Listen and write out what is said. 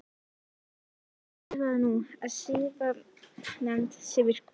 Og Jóhann hvað þýðir það nú að siðanefnd sé virkjuð?